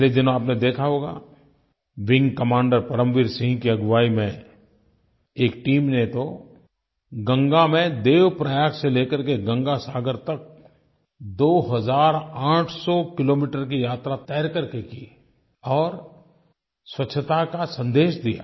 पिछले दिनों आपने देखा होगा विंग कमांडर परमवीर सिंह की अगुवाई में एक टीम ने तो गंगा में देवप्रयाग से ले करके गंगा सागर तक 2800 किलोमीटर की यात्रा तैर करके की और स्वच्छता का संदेश दिया